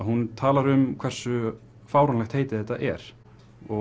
hún talar um hversu fáránlegt heiti þetta er og